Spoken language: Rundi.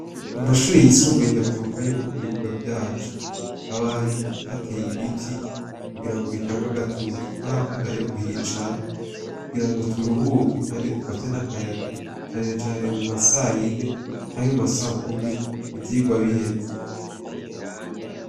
Mu mashure y' isumbuye ndavyibuka yuko mubibuga vyacu, haba hari hatey' ibiti kugira bitang' agatutu, twarahakunda rero kuhicara kugirango turuhuke kandi dufate n' akayaga cane cane mu ma sayine canke mu ma sakumi ivyigwa biheze.